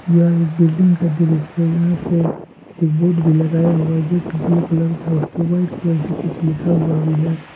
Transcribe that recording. यह एक बिल्डिंग का दृश्य है यहां पे एक बोर्ड भी लगाया हुआ है जोकि ब्लू कलर का है उसपे व्हाइट कलर से कुछ लिखा हुआ भी है।